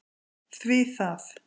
Hví það?